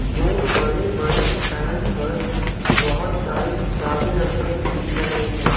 दो बड़े बड़े स्टैंड पर बहोत सारे किताबें रखें हुये दिख रहे हैं।